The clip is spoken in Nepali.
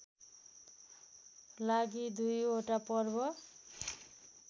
लागि दुईवटा पर्व